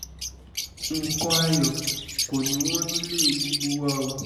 nǹkan ayọ̀ kọ́ ni í wọ́n nílé gbogbo wa o